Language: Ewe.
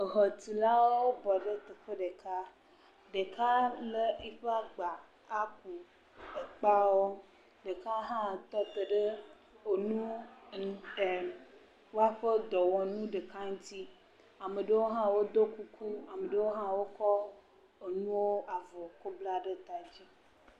Xɔtulawo wobɔ ɖe teƒe ɖeka. Ɖeka le eƒe akpa aƒoɔu ekpeawo Ɖeka hã tɔ ɖe woƒe nu, woƒe dɔwɔnu ɖeka ŋuti.